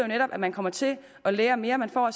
netop at man kommer til at lære mere man får